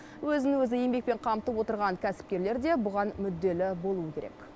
өзін өзі еңбекпен қамтып отырған кәсіпкерлер де бұған мүдделі болуы керек